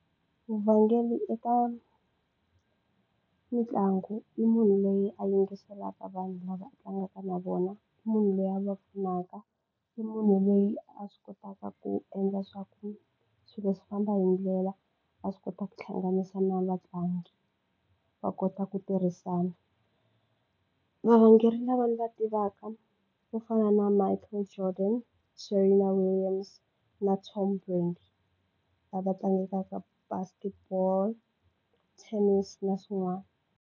Vurhangeri eka mitlangu i munhu loyi a yingiselaka vanhu lava tlangaka na vona munhu loyi a va pfunaka i munhu loyi a swi kotaka ku endla swa ku swilo swi famba hi ndlela a swi kota ku hlanganisa na vatlangi va kota ku tirhisana. Varhangeri lava ni va tivaka ku fana na Michael Jordan, Serena Williams na lava tlangekaka basket ball, tennis na swin'wana.